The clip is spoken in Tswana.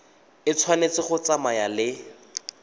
e tshwanetse go tsamaya le